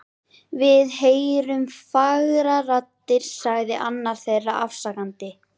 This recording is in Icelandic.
Við heyrðum fagrar raddir sagði annar þeirra afsakandi.